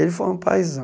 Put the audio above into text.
Ele foi um paizão.